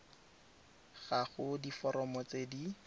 ga go diforomo tse di